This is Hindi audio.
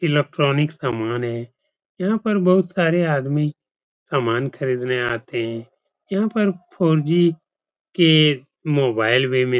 इलेक्ट्रोनिक सामान है। यहाँ पर बहुत सारे आदमी सामान खरीदने आते हैं। यहाँ पर फोर जी के मोबाइल भी मिल --